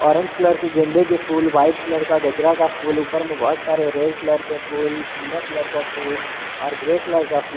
orange colour के गेंदे के फुल व्हाइट कलर का गजरा का फूल ऊपर में बहोत सारे रेड कलर के फूल पीला कलर का फूल और ग्रे कलर का फूल--